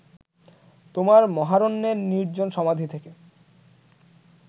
তোমার মহারণ্যের নির্জন সমাধি থেকে